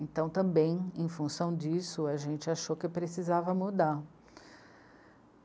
Então, também, em função disso, a gente achou que precisava mudar.